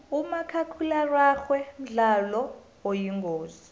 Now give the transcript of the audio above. umakhakhulararhwe mdlalo oyingozi